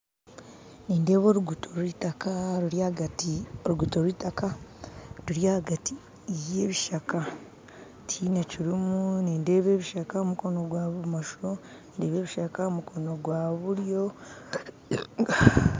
Nindeeba oruguuto rw'eitaka ruri ahagati oruguuto rw'eitaka ruri ahagati y'ebishaka tihaine kirimu nindeeba ebishaka aha mukono gwa bumosho ndeeba ebishaka aha mukono gwa buryo.